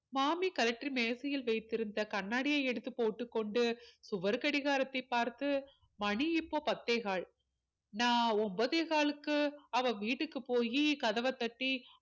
மாமி கழற்றி மேஜையில் வைத்திருந்த கண்ணாடியை எடுத்து போட்டுக் கொண்டு சுவர் கடிகாரத்தை பார்த்து மணி இப்போ பத்தேகால் நான் ஒன்பதே காலுக்கு அவள் வீட்டுக்கு போயி கதவை தட்டி